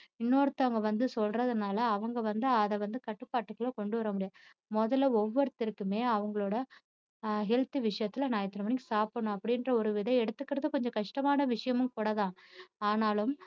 இன்னொருத்தவங்க வந்து சொல்றதுனால அவங்க வந்து அதை வந்து கட்டுப்பாட்டுக்குள்ள கொண்டுவர முடியாது முதல்ல ஒவ்வொருத்தருக்குமே அவங்களோட ஆஹ் health விஷயத்துல நான் இத்தனை மணிக்கு சாப்பிடணும் அப்படிங்குற ஒரு இதை எடுத்துக்குறது கொஞ்சம் கஷ்டமான விஷயமும் கூடதான் ஆனாலும்